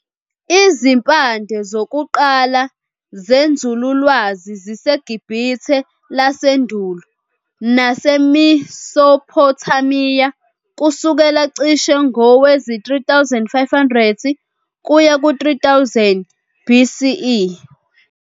Izimpande zokuqala zenzululwazi ziseGibhithe lasendulo naseMesopotamiya kusukela cishe ngowezi-3500 kuya ku-3000 BCE.